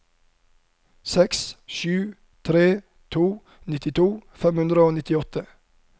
sju seks tre to nittito fem hundre og nittiåtte